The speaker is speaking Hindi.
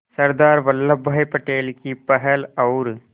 सरदार वल्लभ भाई पटेल की पहल और